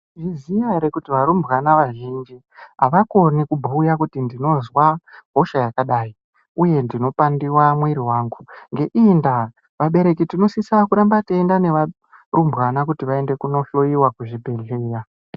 Munozviziya ere kuti varumbwana vazhinji avakoni kubhuya kuti ndinozwa hosha yakadai, uye ndinopandiwa mwiri wangu? Ngeiyi ndaa, vabereki tinosisa kuramba teienda nevarumbwana kuti vaende kunohloyiwa kuzvibhedhlera.